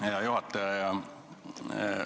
Hea juhataja!